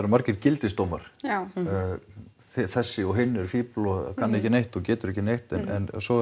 margir gildisdómar já þessi og hinn eru fífl og kann ekki neitt og getur ekki neitt en svo